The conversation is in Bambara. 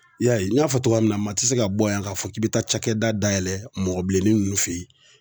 I y'a ye n y'a fɔ cogoya min na, maa ti se ka bɔ yan k'a fɔ k'i bɛ taa cakɛda dayɛlɛ mɔgɔ bilenni ninnu fɛ yen.